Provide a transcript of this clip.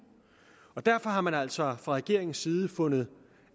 derfor har man altså fra regeringens side fundet